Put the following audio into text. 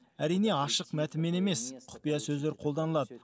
әрине ашық мәтінмен емес құпия сөздер қолданылады